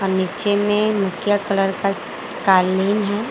और नीचे में मुख्य कलर का कालीन है।